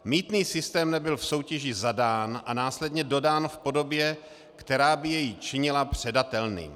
Mýtný systém nebyl v soutěži zadán a následně dodán v podobě, která by jej činila předatelným.